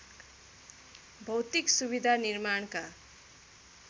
भौतिक सुविधा निर्माणका